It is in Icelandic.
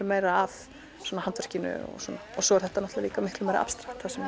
meira að handverkinu og svo er þetta líka miklu meira abstrakt sem